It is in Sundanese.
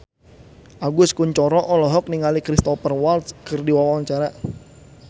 Agus Kuncoro olohok ningali Cristhoper Waltz keur diwawancara